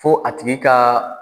Fo a tigi ka